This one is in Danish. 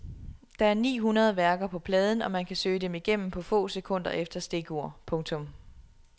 Der er et ni hundrede værker på pladen og man kan søge dem igennem på få sekunder efter stikord. punktum